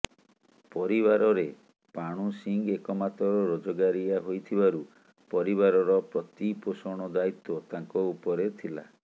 ପରିବାରରେ ପାଣୁ ସିଂ ଏକମାତ୍ର ରୋଜଗାରିଆ ହୋଇଥିବାରୁ ପରିବାରର ପ୍ରତିପୋଷଣ ଦାୟିତ୍ବ ତାଙ୍କ ଉପରେ ଥିଲା